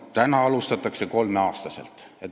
"Täna alustatakse kolmeaastaselt.